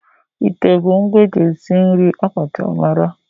Ite bụ ngwa eji esi nri akacha mara.